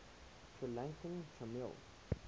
sri lankan tamil